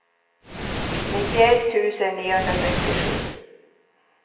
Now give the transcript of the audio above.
nittioett tusen niohundrasextiosju